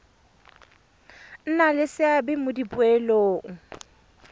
nna le seabe mo dipoelong